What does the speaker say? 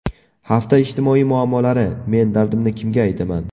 Hafta ijtimoiy muammolari: Men dardimni kimga aytaman….